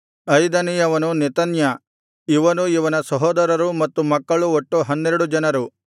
ಐದನೆಯವನು Nethaniah ಇವನೂ ಇವನ ಸಹೋದರರೂ ಮತ್ತು ಮಕ್ಕಳು ಒಟ್ಟು ಹನ್ನೆರಡು ಜನರು